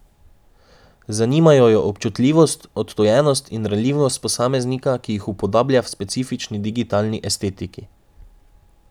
Zanimajo jo občutljivost, odtujenost in ranljivost posameznika, ki jih upodablja v specifični digitalni estetiki.